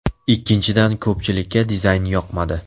Ikkinchidan ko‘pchilikka dizayn yoqmadi.